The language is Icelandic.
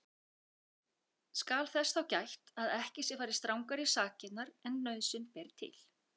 Skal þess þá gætt að ekki sé farið strangar í sakirnar en nauðsyn ber til.